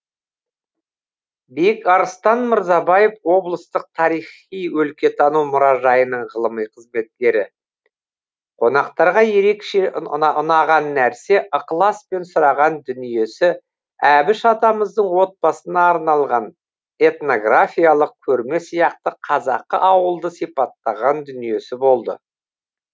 бекарыстан мырзабаев облыстық тарихи өлкетану мұражайының ғылыми қызметкері қонақтарға ерекше ұнаған нәрсе ықыласпен сұраған дүниесі әбіш атамыздың отбасына арналған этнографиялық көрме сияқты қазақы ауылды сипаттаған дүниесі болды